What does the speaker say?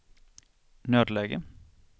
nödläge